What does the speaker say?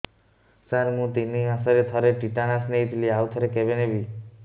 ସାର ମୁଁ ତିନି ମାସରେ ଥରେ ଟିଟାନସ ନେଇଥିଲି ଆଉ ଥରେ କେବେ ନେବି